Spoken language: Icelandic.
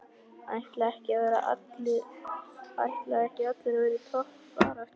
Ætla ekki allir að vera í toppbaráttu?